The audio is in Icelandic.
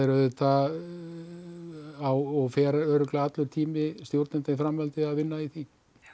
auðvitað á og fer allur tími stjórnenda í framhaldinu að vinna í því